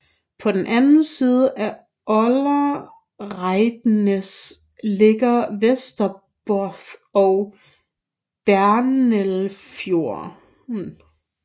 På den anden side af Oldereidneset ligger Vesterbotn og Brennelvfjorden